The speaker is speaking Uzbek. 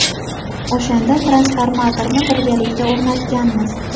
O‘shanda transformatorni birgalikda o‘rnatganmiz.